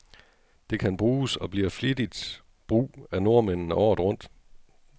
Det kan bruges, og bliver flittigt brug af nordmændene, året rundt.